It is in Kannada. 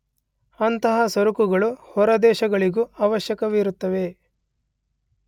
ಅಂತಹ ಸರಕುಗಳು ಹೊರದೇಶಗಳಿಗೂ ಅವಶ್ಯಕವಿರುತ್ತವೆ.